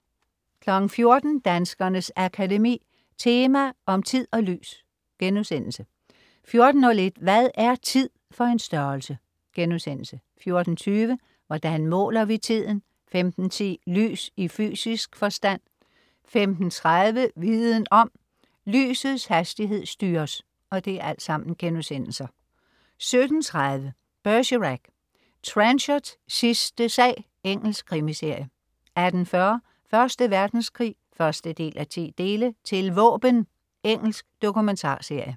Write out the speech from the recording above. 14.00 Danskernes Akademi. Tema om tid og lys* 14.01 Hvad er tid for en størrelse?* 14.20 Hvordan måler vi tiden?* 15.10 Lys i fysisk forstand* 15.30 Viden om: Lysets hastighed styres* 17.30 Bergerac: Trenchards sidste sag. Engelsk krimiserie 18.40 Første Verdenskrig 1:10. "Til våben". Engelsk dokumentarserie